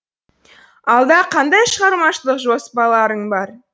алда қандай шығармашылық жоспарларың бар